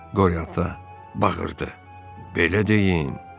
Qori ata bağırdı: Belə deyin.